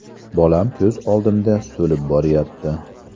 Bolam ko‘z oldimda so‘lib boryapti.